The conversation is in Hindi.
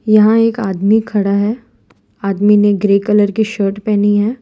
यहां एक आदमी खड़ा है आदमी ने ग्रे कलर की शर्ट पहनी है।